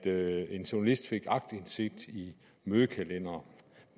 at en journalist fik aktindsigt i mødekalendere